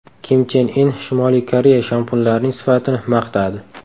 Kim Chen In Shimoliy Koreya shampunlarining sifatini maqtadi.